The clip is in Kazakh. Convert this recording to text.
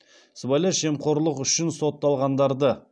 сыбайлас жемқорлық үшін сотталғандарды